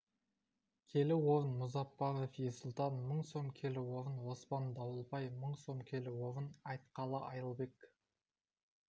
келі орын мұзаппаров ерсұлтан мың сом келі орын оспан дауылбай мың сом келі орын айтқалы айылбек